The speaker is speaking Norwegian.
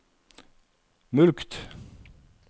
mulkt